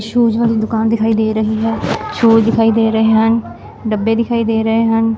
Shoes ਵਾਲੀ ਦੁਕਾਨ ਦਿਖਾਈ ਦੇ ਰਹੀ ਹੈ ਸ਼ੂਜ਼ ਦਿਖਾਈ ਦੇ ਰਹੇ ਹਨ ਡੱਬੇ ਦਿਖਾਈ ਦੇ ਰਹੇ ਹਨ।